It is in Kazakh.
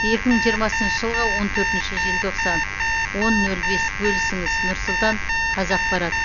екі мың жирмасыншы жылғы он төртінші желтоқсан он нөл бес бөлісіңіз нұр сұлтан қазақпарат